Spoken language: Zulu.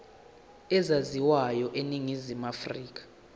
ezaziwayo eningizimu afrika